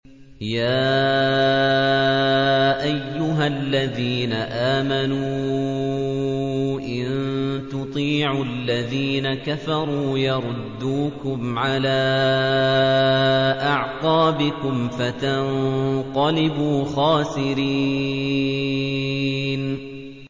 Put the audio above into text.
يَا أَيُّهَا الَّذِينَ آمَنُوا إِن تُطِيعُوا الَّذِينَ كَفَرُوا يَرُدُّوكُمْ عَلَىٰ أَعْقَابِكُمْ فَتَنقَلِبُوا خَاسِرِينَ